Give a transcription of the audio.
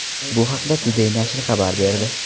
Bu haqda Today nashri xabar berdi.